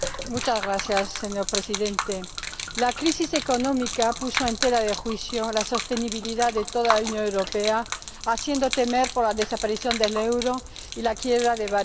Señor Presidente, la crisis económica puso en tela de juicio la sostenibilidad de toda la Unión Europea, haciendo temer por la desaparición del euro y la quiebra de varios Estados.